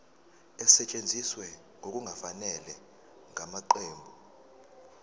esetshenziswe ngokungafanele ngamaqembu